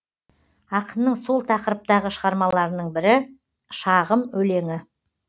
ақынның сол тақырыптағы шығармаларының бірі шағым өлеңі